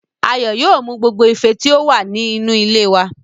Ayọ̀ yóò mú gbogbo ife tí ó wà ní inú ilé wá